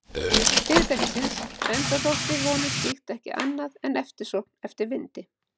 Fyrirtækisins, enda þótti honum slíkt ekki annað en eftirsókn eftir vindi.